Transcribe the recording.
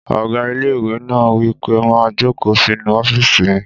Ọgá ilé-ìwé náà wí pé má jòkó sínu ọ́fìsì mi!